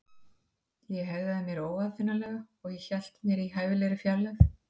Ég hegðaði mér óaðfinnanlega- og hélt mér í hæfilegri fjarlægð.